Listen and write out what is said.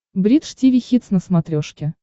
бридж тиви хитс на смотрешке